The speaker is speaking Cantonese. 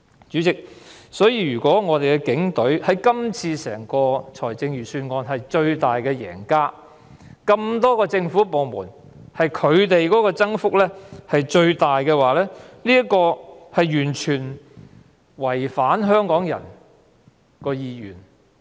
主席，因此，如果警隊在這份財政預算案中成為最大贏家，在眾多政府部門中的全年預算開支增幅最大，就是完全違反香港人的意願。